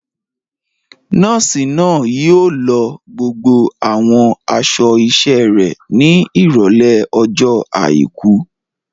Nọ́ọ̀sì náà yóò lọ gbogbo àwọn aṣọ iṣẹ́ rẹ̀ ní Ìrọ̀lẹ́ ọjọ́ àìkú.